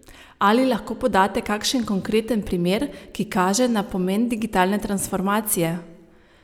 Ali lahko podate kakšen konkreten primer, ki kaže na pomen digitalne transformacije?